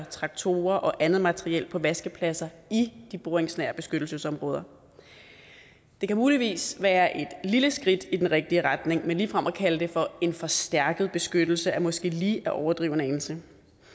traktorer og andet materiel på vaskepladser i de boringsnære beskyttelsesområder det kan muligvis være et lille skridt i den rigtige retning men ligefrem at kalde det for en forstærket beskyttelse er måske lige at overdrive en anelse